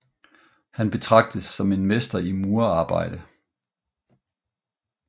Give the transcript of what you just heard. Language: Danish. Han betragtes som mester i murarbejde